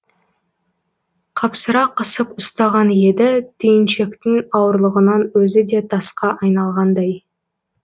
қапсыра қысып ұстаған еді түйіншектің ауырлығынан өзі де тасқа айналғандай